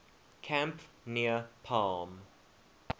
camp near palm